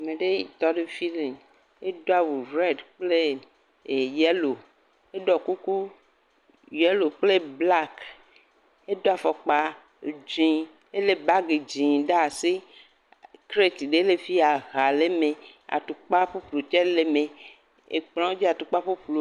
Ame ɖe tɔ ɖe efi le edo awu red kple e.. yellow, eɖɔ kuku yellow kple black, edo fɔkpa dzɛ̃ elé bagi dzɛ̃ ɖe asi kreti ɖe le fi aha le eme atukpa ƒuƒlu tse le eme, ekplɔ dzi atukpa ƒuƒlu.